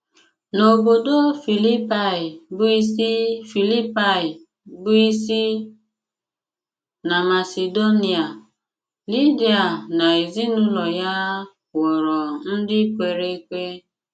N’obodò Filípaị̀ bụ́ ísí Filípaị̀ bụ́ ísí na Masedonia, Lídia na ezinụlọ̀ ya ghọrọ̀ ndị kwere ekwe.